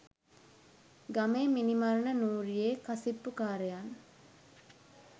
ගමේ මිනී මරණ නූරියේ කසිප්පුකාරයන්